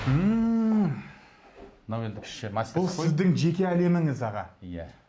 ммм бұл сіздің жеке әлеміңіз аға иә